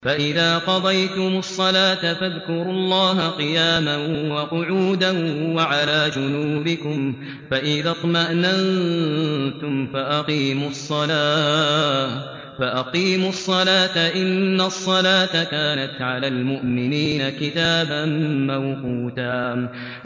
فَإِذَا قَضَيْتُمُ الصَّلَاةَ فَاذْكُرُوا اللَّهَ قِيَامًا وَقُعُودًا وَعَلَىٰ جُنُوبِكُمْ ۚ فَإِذَا اطْمَأْنَنتُمْ فَأَقِيمُوا الصَّلَاةَ ۚ إِنَّ الصَّلَاةَ كَانَتْ عَلَى الْمُؤْمِنِينَ كِتَابًا مَّوْقُوتًا